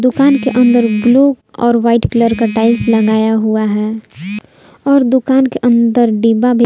दुकान के अंदर ब्लू और वाइट कलर का टाइल्स लगाया हुआ है और दुकान के अंदर डिब्बा भी--